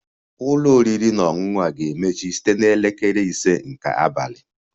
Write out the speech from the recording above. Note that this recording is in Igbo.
Ụlọ oriri na ọṅụṅụ ga-emechi site na elekere ise nke abalị